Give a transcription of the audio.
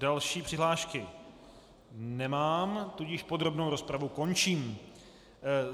Další přihlášky nemám, tudíž podrobnou rozpravu končím.